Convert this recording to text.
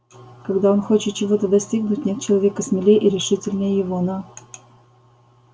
когда он хочет чего-то достигнуть нет человека смелее и решительнее его но